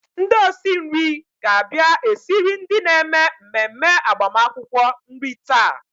Ndị osi nri ga-abia esiri ndị na-eme mmemme agbamakwụkwọ nri taa.